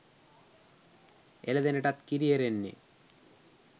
එළදෙනටත් කිරි එරෙන්නේ